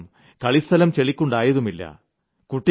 ഇതുകാരണം കളിസ്ഥലം ചെളിക്കുണ്ടായതുമില്ല